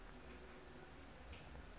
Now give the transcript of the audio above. air force raaf